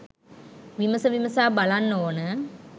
විමස විමසා බලන්න ඕන.